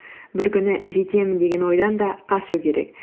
бір күні жетемін деген ойдан да қашу керек